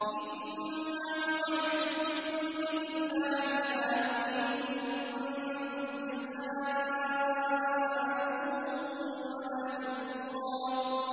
إِنَّمَا نُطْعِمُكُمْ لِوَجْهِ اللَّهِ لَا نُرِيدُ مِنكُمْ جَزَاءً وَلَا شُكُورًا